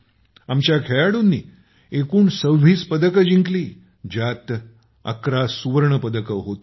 आपल्या खेळाडूंनी एकूण २६ पदकं जिंकली ज्यात ११ सुवर्ण पदकं होती